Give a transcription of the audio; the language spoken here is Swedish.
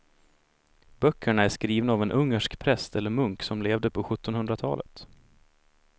Böckerna är skrivna av en ungersk präst eller munk som levde på sjuttonhundratalet.